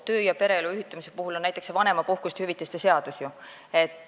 Töö- ja pereelu ühitamise puhul on oluline näiteks vanemahüvitise seadus.